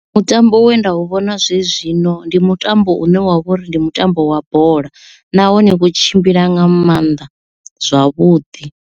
Mutambo we nda u vhona zwenezwino ndi mutambo une wavha uri ndi mutambo wa bola nahone wo tshimbila nga maanḓa zwavhuḓi.